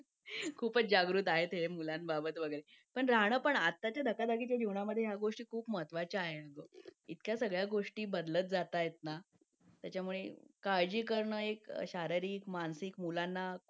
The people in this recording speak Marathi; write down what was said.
लेट होतं सर्दी खोकला हा एक वाढलं आहे. एका मुलाला क्लास पूर्ण क्लास त्याच्यामध्ये वाहून निघत निघत असतो असं म्हणायला हरकत नाही. हो डेंग्यू, मलेरिया यासारखे आजार पण ना म्हणजे लसीकरण आहे. पूर्ण केले तर मला नाही वाटत आहे रोप असू शकतेपुडी लसीकरणाबाबत थोडं पालकांनी लक्ष दिलं पाहिजे की आपला मुलगा या वयात आलेला आहे. आता त्याच्या कोणत्या लसी राहिलेले आहेत का?